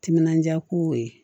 Timinandiya ko ye